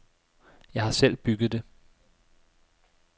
Jeg har selv bygget det.